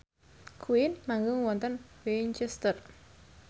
Queen manggung wonten Winchester